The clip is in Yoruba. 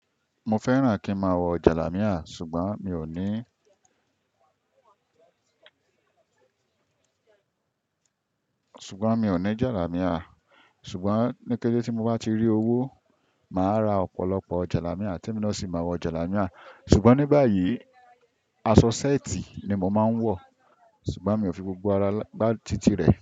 Mo fẹ́ràn kí n máa wọ jàlámíà ṣùgbọ́n mi ò ní, ṣùgbọ́n mi ò ní jàlámíà. Ṣùgbọ́n ní kéré tí mo bá ti rí owó, màá ra ọ̀pọ̀lọpọ̀ jàlámíà tí ẹ̀mí náà ò sì máa wọ jàlámíà. Ṣùgbọ́n ní báyìí, aṣọ ṣẹ́ẹ̀tì ni mò máa ń wọ. Ṣùgbọ́n mi ò fi gbogbo ara gbá títì rẹ̀